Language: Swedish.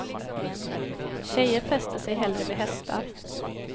Tjejer fäster sig hellre vid hästar.